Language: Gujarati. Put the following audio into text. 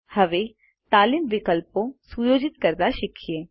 હવે તાલીમ વિકલ્પો સુયોજિત કરતા શીખીએ